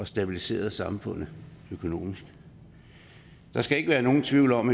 stabiliseret samfundet økonomisk der skal ikke være nogen tvivl om